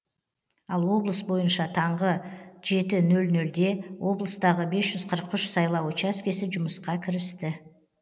ал облыс бойынша таңғы жеті нөл нөлде облыстағы бес жүз қырық үш сайлау учаскесі жұмысқа кірісті